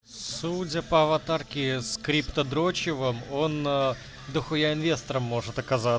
судя по аватарке с криптодрочевом он дохуя инвестором может оказа